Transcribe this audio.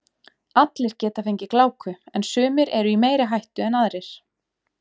Allir geta fengið gláku en sumir eru í meiri hættu en aðrir.